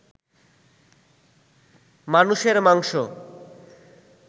মানুষের মাংস